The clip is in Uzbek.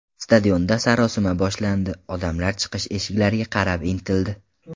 Stadionda sarosima boshlandi, odamlar chiqish eshiklariga qarab intildi.